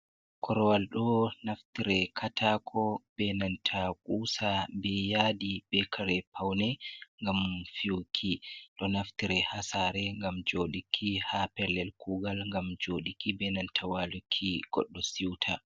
Korwal ɗo naftire katako benanta kusa, be yadi, be kare paune gam fiyuki. Ɗo naftire hasare gam jodiki, ha pellel kugal gam jodiki benanta waluki goddo siuta.